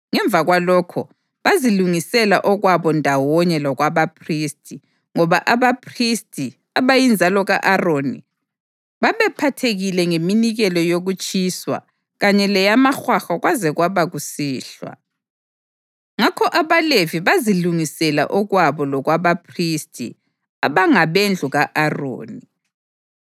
Ngemva kwalokho, bazilungisela okwabo ndawonye lokwabaphristi, ngoba abaphristi, abayinzalo ka-Aroni, babephathekile ngeminikelo yokutshiswa kanye leyamahwahwa kwaze kwaba kusihlwa. Ngakho abaLevi bazilungisela okwabo lokwabaphristi abangabendlu ka-Aroni.